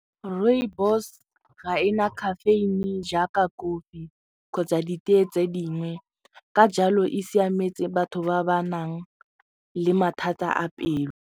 Rooibos ga ena caffeine jaaka kofi kgotsa ditee tse dingwe ka jalo e siametse batho ba ba nang le mathata a pelo.